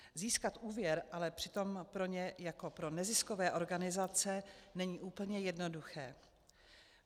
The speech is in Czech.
Získat úvěr ale přitom pro ně jako pro neziskové organizace není úplně jednoduché.